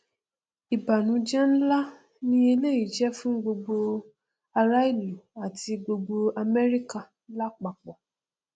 ìbànújẹ nlá ni eléyìí jẹ fún gbogbo ará ìlú àti gbogbo amẹrika lápapọ